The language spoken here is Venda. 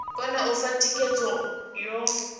kone u fha thikhedzo yo